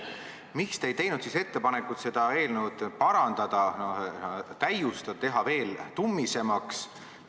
Miks te ei teinud siis ettepanekut seda eelnõu parandada ja täiustada, teha veel tummisemaks?